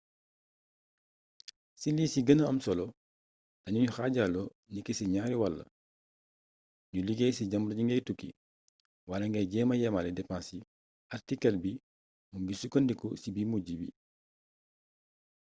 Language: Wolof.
ci li ci gëna am solo dañuy xaajaloo niki ci ñaari wàll ñu liggéey ci jamono ji ngay tukki wala ngay jéema yemale depense yi artikël bii mu ngi sukkandiku ci bu mujj bi